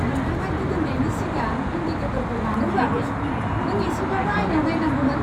नोंथाङा गिदिंनायनि सिगां इंडिकेटरखौ मानो होआखै? नों एसेब्लाबो आयनायाव नायनांगौमोन!